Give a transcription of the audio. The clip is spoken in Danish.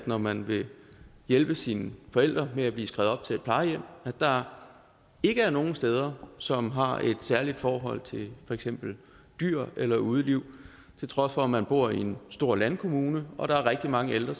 når man vil hjælpe sine forældre med at blive skrevet op til et plejehjem at der ikke er nogen steder som har et særligt forhold til for eksempel dyr eller udeliv til trods for at man bor i en stor landkommune hvor der er rigtig mange ældre